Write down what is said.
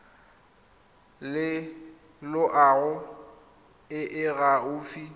le loago e e gaufi